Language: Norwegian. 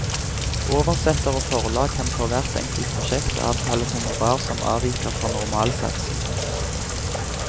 Oversetter og forlag kan for hvert enkelt prosjekt avtale honorar som avviker fra normalsatsen.